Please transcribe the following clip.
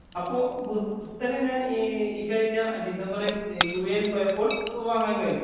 അപ്പൊ പുസ്തകം ഞാന്‍ ഇക്കഴിഞ്ഞ ഡിസംബറില്‍ യുഎഇ ല്‍ പോയപ്പോള്‍ വാങ്ങാന്‍ കഴിഞ്ഞു.